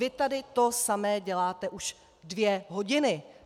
Vy tady to samé děláte už dvě hodiny.